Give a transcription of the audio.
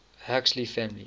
huxley family